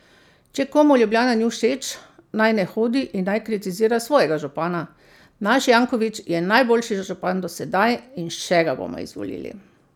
Če komu Ljubljana ni všeč, naj ne hodi in naj kritizira svojega župana, naš Janković je najboljši župan do sedaj in še ga bomo izvolili.